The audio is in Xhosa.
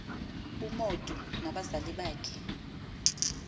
umotu nabazali bakhe